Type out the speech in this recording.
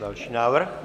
Další návrh.